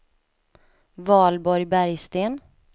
Valborg Bergsten